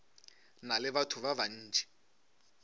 na le batho ba bantši